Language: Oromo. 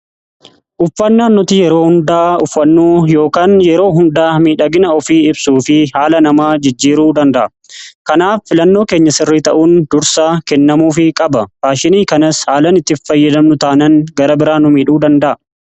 Uffannaan nuti yeroo hundaa uffannuu yookaan yeroo hundaa miidhagina ofii ibsuu fi haala namaa jijjiiruu danda'a. Kanaaf filannoo keenya sirrii ta'uun dursaa kennamuufi qaba. Faashinii kanas haalan itti hin fayyadamnu taanan gara biraan nu miidhuu danda'a.